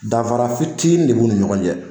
Danfara fitinin de b'u ni ɲɔgɔn cɛ